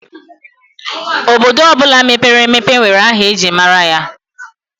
Obodo ọbụla mepere emepe nwere aha ejiri mara ya.